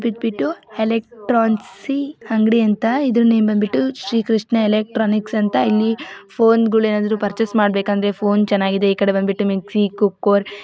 ಎಲೆಕ್ರೊನ್ಸಿ ಅಂಗ್ಡಿ ಅಂತ ಇದರ ನೇಮ್ ಬಂದ್ಬಿಟ್ಟು ಶ್ರೀಕೃಷ್ಣ ಎಲೆಕ್ಟ್ರಾನಿಕ್ಸ್ ಅಂತ ಇಲ್ಲಿ ಫೋನ್ಗಳು ಏನಾದ್ರು ಪೆರ್ಚಸ್ ಮಾಡ್ಬೇಕಂದ್ರೆ ಫೋನ್ ಚೆನ್ನಾಗಿದೆ ಈ ಕಡೆ ಬಂದ್ಬಿಟ್ಟು ಮಿಕ್ಸಿ ಕೂಕ್ಕುವರ್ --